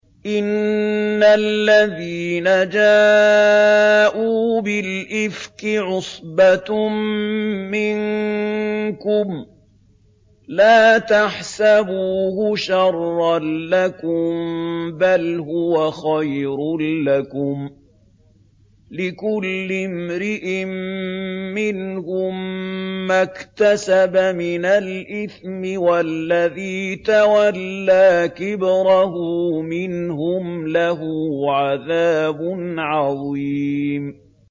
إِنَّ الَّذِينَ جَاءُوا بِالْإِفْكِ عُصْبَةٌ مِّنكُمْ ۚ لَا تَحْسَبُوهُ شَرًّا لَّكُم ۖ بَلْ هُوَ خَيْرٌ لَّكُمْ ۚ لِكُلِّ امْرِئٍ مِّنْهُم مَّا اكْتَسَبَ مِنَ الْإِثْمِ ۚ وَالَّذِي تَوَلَّىٰ كِبْرَهُ مِنْهُمْ لَهُ عَذَابٌ عَظِيمٌ